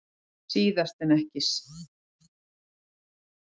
Síðast en ekki síst nýtast þessir geislar til ljóstillífunar plantna.